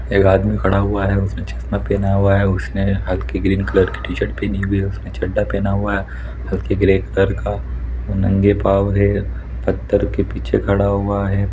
एक आदमी खड़ा हुआ है उसने चश्मा पहना है उसने हलके ग्रीन कलर की टीशर्ट पहनी हुई हैउसने चड़ा पहना है हलके ग्रे कलर का वो नंगे पाँव है पत्थर के पीछे खड़ा हुआ है।